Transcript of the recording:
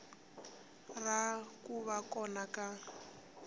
ra ku va kona ka